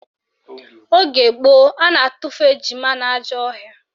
Oge gboo, a na-atufu ejima n'ajọ ọhịa